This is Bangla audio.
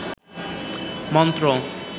মন্ত্র